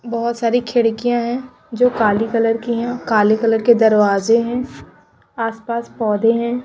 बहुत सारी खिड़कियां हैं जो काली कलर की है काले कलर के दरवाजे हैं आसपास पौधे हैं।